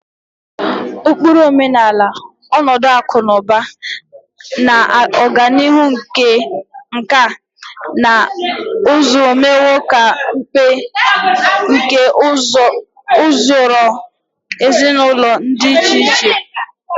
Ụkpụrụ omenala, ọnọdụ akụ na ụba, na ọganihu nkà na ụzụ emewo ka mmepe nke usoro ezinụlọ dị iche iche.